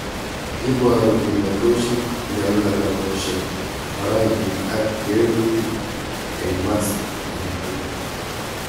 Iboru kimnatoshek, nyalunatoshek, barainwek ak kawelutik eng mast age togul.